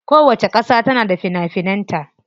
Kowacce kasa tana da fina finan ta.